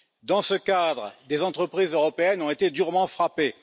Dans ce cadre, des entreprises européennes ont été durement frappées.